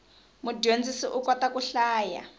mudyondzisi u kota ku hlaya